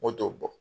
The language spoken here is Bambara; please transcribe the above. Moto t'o bɔ